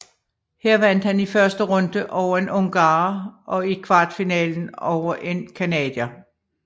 Her vandt han i første runde over en ungarer og i kvartfinalen over en canadier